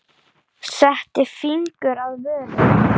Setti fingur að vörum.